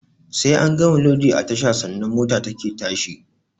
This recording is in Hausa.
Sai an gama lodi a tasha sannan mota take tashi